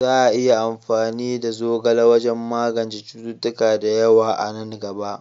Za a yi amfani da zogale wajen magance cututtuka da yawa a nan gaba.